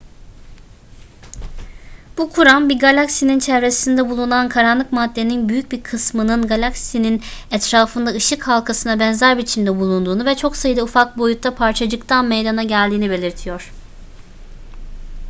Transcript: bu kuram bir galaksinin çevresinde bulunan karanlık maddenin büyük bir kısmının galaksinin etrafında ışık halkasına benzer biçimde bulunduğunu ve çok sayıda ufak boyutta parçacıktan meydana geldiğini belirtiyor